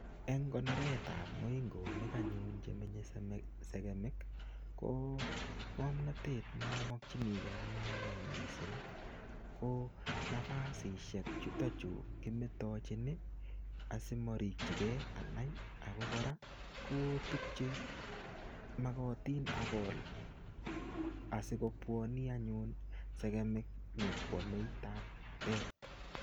Eng konoretap moingonik anyun chemenye sekemik, ko ngomnatet ne amakchiniekie anee anai missing, ko nafasishek chutochu kimetochin asimarikchikei anai. Ako kora, ko tukche magatin agol asikobwani anyun sekemik nyikwamei taptet.